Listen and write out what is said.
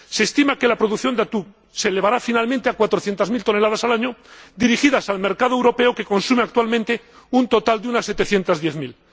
Se estima que la producción de atún se elevará finalmente a cuatrocientas mil toneladas al año, dirigidas al mercado europeo, que consume actualmente un total de unas setecientas diez mil.